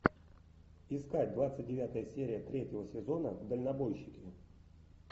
искать двадцать девятая серия третьего сезона дальнобойщики